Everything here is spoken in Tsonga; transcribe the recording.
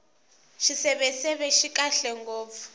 xiseveseve xi kahle ngopfu